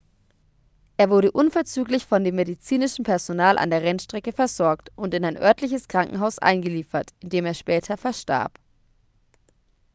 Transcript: er wurde unverzüglich von dem medizinischen personal an der rennstrecke versorgt und in ein örtliches krankenhaus eingeliefert in dem er später verstarb